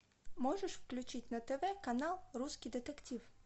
можешь включить на тв канал русский детектив